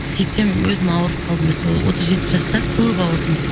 сөйтсем өзім ауырып қалдым сол отыз жеті жаста көп ауырдым